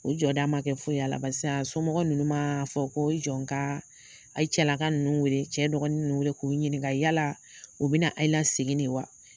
O jɔ da ma kɛ foyi y'a la barisa somɔgɔw ninnu ma fɔ ko i jɔ n ka a cɛla ka ninnu wele cɛ dɔgɔnin ninnu wele k'u ɲininka yala u bina a yi lasegin de wa ?